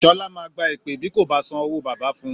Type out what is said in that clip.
Sọlá máa gba èpè bí kò bá san owó bàbá fún-un